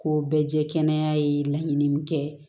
Ko bɛɛ ye kɛnɛya ye laɲini min kɛ